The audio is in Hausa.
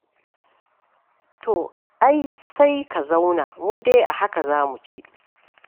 To ai sai ka zauna, mu dai a haka za mu ci.